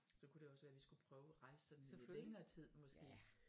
Så kunne det også være vi skulle prøve og rejse sådan i lidt længere tid måske